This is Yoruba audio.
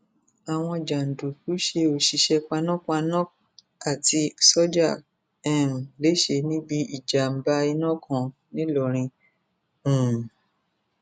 àwọn jàǹdùkú ṣe òṣìṣẹ panápaná àti sójà um lẹsẹ níbi ìjàmbá iná kan ńìlọrin um